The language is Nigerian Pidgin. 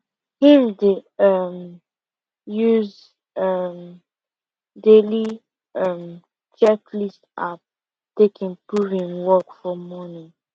him dey um use um daily um checklist app take improve him work for morning